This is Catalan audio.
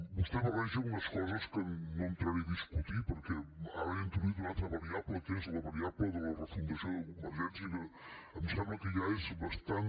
vostè barreja unes coses que no entraré a discutir perquè ara ha introduït una altra variable que és la variable de la refundació de convergència que em sembla que ja és bastant